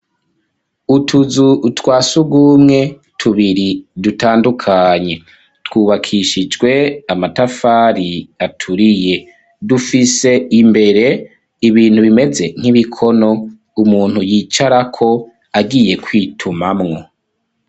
utuzu twa sugumwe tubiri dutandukanye twubakishijwe amatafari aturiye dufise imbere ibintu bimeze nk'ibikono umuntu yicara ko agiye kwitumamwo.